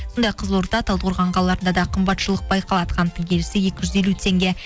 сондай ақ қызылорда талдықорған қалаларында да қымбатшылық байқалады қанттың келісі екі жүз елу теңге